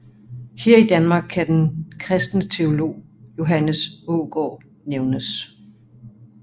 Her i Danmark kan den Kristne teolog Johannes Aagaard nævnes